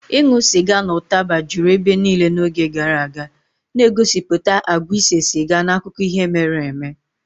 Ịṅụ sịga na ụtaba juru ebe niile n'oge gara aga, na-egosipụta àgwà ise siga n'akụkọ ihe mere eme.